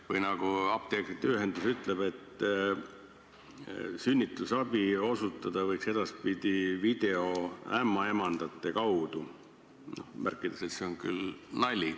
Või nagu apteekrite ühendus ütleb, sünnitusabi osutada võiks edaspidi videoämmaemandate kaudu, märkides küll, et see on nali.